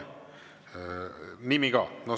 Nimi ka.